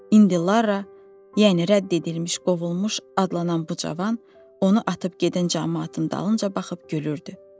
İndi Lara, yəni rədd edilmiş, qovulmuş adlanan bu cavan, onu atıb gedən camaatın dalınca baxıb gülürdü.